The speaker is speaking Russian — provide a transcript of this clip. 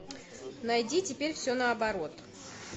найди теперь все наоборот